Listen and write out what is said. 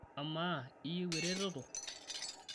amaa iyieu ereteto?